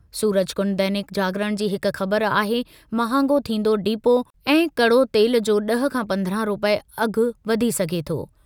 सूरजकुंड दैनिक जागरण जी हिक ख़बर आहे- महांगो थींदो डिपो ऐं कड़ो तेल जो ड॒ह खां पंद्रहं रूपए अघि वधी सघे थो।